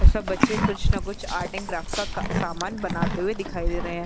और सब बच्चे कुछ न कुछ आर्टिनग क्राफ्ट का सामान बनाते हुए दिखाई दे रहे हैं।